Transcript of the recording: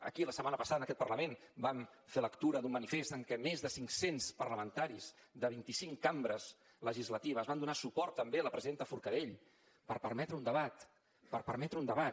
aquí la setmana passada en aquest parlament vam fer lectura d’un manifest en què més de cinc cents parlamentaris de vint i cinc cambres legislatives van donar suport també a la presidenta forcadell per permetre un debat per permetre un debat